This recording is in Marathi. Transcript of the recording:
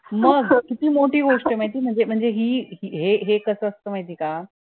मग किती मोठी गोष्ट ये म्हणजे माहित हि हे कसं माहित ये का